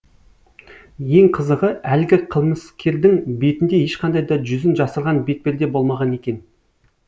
ең қызығы әлгі қылмыскердің бетінде ешқандай да жүзін жасырған бетперде болмаған екен